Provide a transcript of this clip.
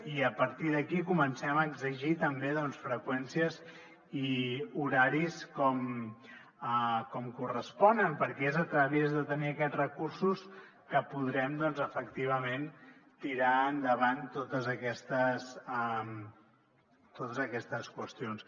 i a partir d’aquí comencem a exigir també doncs freqüències i horaris com corresponen perquè és a través de tenir aquests recursos que podrem efectivament tirar endavant totes aquestes qüestions